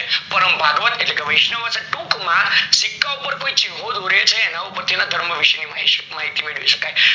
પારવ ભાગવત એટલે કે વૈષ્ણવ હયશે ટુક માં સિક્કા ઉપર ચિન્હો દોરે છે એના ઉપર થી એના ધર્મ ની વિષે ની માહિતી મેળવી શકાય